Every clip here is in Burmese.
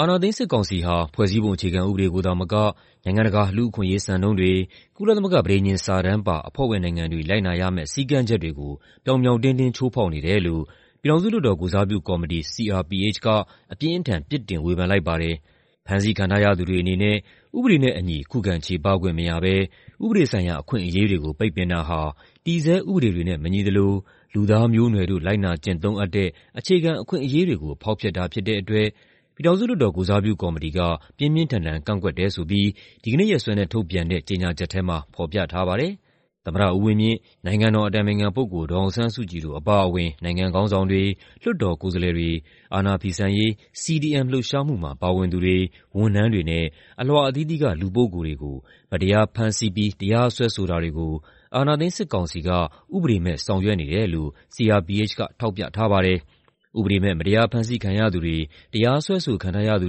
အာဏာသိမ်း စစ်ကောင်စီဟာ ဖွဲ့စည်းပုံအခြေခံဥပဒေကိုသာမက နိုင်ငံတကာ လူ့အခွင့်အရေးစံနှုန်းတွေ၊ ကုလသမဂ္ဂ ပဋိညာဉ်စာတမ်းပါ အဖွဲ့ဝင်နိုင်ငံတွေ လိုက်နာရမယ့် စည်းကမ်းချက်တွေကို ပြောင်ပြောင်တင်းတင်း ချိုးဖောက်နေတယ်လို့ ပြည်ထောင်စုလွှတ်တော် ကိုယ်စားပြုကော်မတီ (CRPH) က အပြင်းအထန် ပြစ်တင်ဝေဖန်လိုက်ပါတယ်။ ဖမ်းဆီးခံထားရသူတွေအနေနဲ့ ဥပဒေနဲ့အညီ ခုခံချေပခွင့်မရဘဲ ဥပဒေဆိုင်ရာ အခွင့်အရေးတွေကို ပိတ်ပင်တာဟာ တည်ဆဲဥပဒေတွေနဲ့ မညီသလို လူသားမျိုးနွယ်တို့ လိုက်နာကျင့်သုံးအပ်တဲ့ အခြေခံအခွင့်အရေးတွေကို ဖောက်ဖျက်တာ ဖြစ်တဲ့အတွက် ပြည်ထောင်စုလွှတ်တော် ကိုယ်စားပြုကော်မတီက ပြင်းပြင်းထန်ထန် ကန့်ကွက်တယ်ဆိုပြီး ဒီကနေ့ရက်စွဲနဲ့ ထုတ်ပြန်တဲ့ ကြေညာချက်ထဲမှာ ဖော်ပြထားပါတယ်။ သမ္မတဦးဝင်းမြင့်၊ နိုင်ငံတော်အတိုင်ပင်ခံပုဂ္ဂိုလ် ဒေါ်အောင်ဆန်းစုကြည်တို့ အပါအဝင် နိုင်ငံခေါင်းဆောင်တွေ၊ လွှတ်တော်ကိုယ်စားလှယ်တွေ၊ အာဏာဖီဆန်ရေး CDM လှုပ်ရှားမှုမှာ ပါဝင်သူတွေ၊ ဝန်ထမ်းတွေနဲ့ အလွှာအသီးသီးက လူပုဂ္ဂိုလ်တွေကို မတရားဖမ်းဆီးပြီး တရားစွဲဆိုတာတွေကို အာဏာသိမ်းစစ်ကောင်စီက ဥပဒေမဲ့ ဆောင်ရွက်နေတယ်လို့ CRPH က ထောက်ပြထားပါတယ်။ ဥပဒေမဲ့ မတရားဖမ်းဆီးခံရသူတွေ၊ တရားစွဲဆိုခံထားရသူ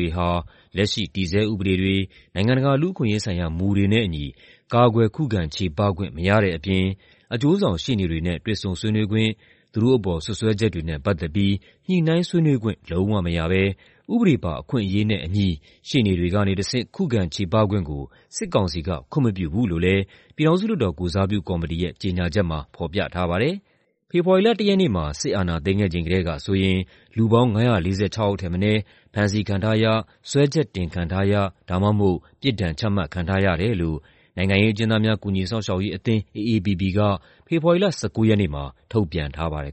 တွေဟာ လက်ရှိ တည်ဆဲဥပဒေတွေ၊ နိုင်ငံတကာ လူ့အခွင့်အရေးဆိုင်ရာ မူတွေနဲ့အညီ ကာကွယ်ခုခံချေပခွင့် မရတဲ့အပြင် အကျိုးဆောင်ရှေ့နေတွေနဲ့ တွေ့ဆုံဆွေးနွေးခွင့်၊ သူတို့အပေါ် စွပ်စွဲချက်တွေနဲ့ ပတ်သက်ပြီး ညှိနှိုင်းဆွေးနွေးခွင့် လုံးဝမရဘဲ ဥပဒေပါ အခွင့်အရေးနဲ့အညီ ရှေ့နေတွေကနေတဆင့် ခုခံချေပခွင့်ကို စစ်ကောင်စီက ခွင့်မပြုဘူးလို့လည်း ပြည်ထောင်စုလွှတ်တော် ကိုယ်စားပြုကော်မတီရဲ့ ကြေညာချက်မှာ ဖော်ပြထားပါတယ်။ ဖေဖော်ဝါရီလ ၁ ရက်နေ့မှာ စစ်အာဏာသိမ်းခဲ့ချိန်ကတည်းကဆိုရင် လူပေါင်း ၅၄၆ ယောက် ဖမ်းဆီးခံထားရ၊ စွဲချက်တင်ခံထားရ ဒါမှမဟုတ် ပြစ်ဒဏ်ချမှတ်ခံထားရတယ်လို့ နိုင်ငံရေးအကျဉ်းသားများ ကူညီစောင့်ရှောက်ရေးအသင်း (AAPP) က ဖေဖော်ဝါရီလ ၁၉ ရက်နေ့မှာ ထုတ်ပြန်ထားပါတယ်